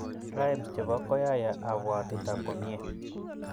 rhymes chepo rap koyaya apuatuta komiei